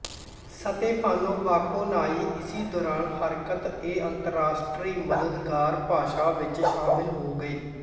Stefano Bakonyi ਇਸੀ ਦੌਰਾਨ ਹਰਕਤ ਏ ਅੰਤਰਰਾਸ਼ਟਰੀ ਮਦਦਗਾਰ ਭਾਸ਼ਾ ਵਿੱਚ ਸ਼ਾਮਿਲ ਹੋ ਗਏ